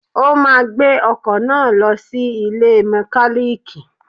O máa gbé ọkọ̀ náà lọ sí ilé iṣẹ́ mọkálíìkì.